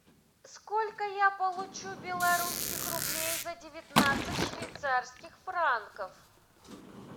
сколько я получу белорусских рублей за девятнадцать швейцарских франков